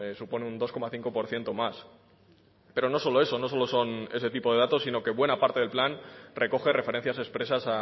supone un dos coma cinco por ciento más pero no solo eso no solo son ese tipo de datos sino que buena parte del plan recoge referencias expresas